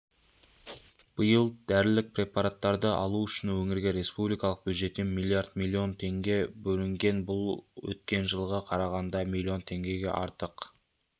биыл дәрілік препараттарды алу үшін өңірге республикалық бюджеттен миллиард миллон теңге бөлінген бұл өткен жылға қарағанда миллион теңгеге артық